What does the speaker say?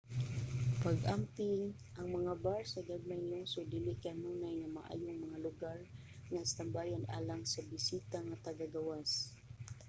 pag-amping: ang mga bar sa gagmayng lungsod dili kanunay nga maayong mga lugar nga istambayan alang sa bisita nga taga-gawas